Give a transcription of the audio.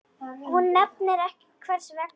Hún nefnir ekki hvers vegna.